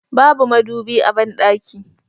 Babu madubi a banɗakin